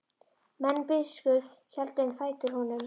Menn biskups héldu um fætur honum.